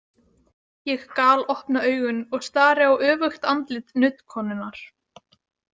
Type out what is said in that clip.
Ég galopna augun og stari á öfugt andlit nuddkonunnar.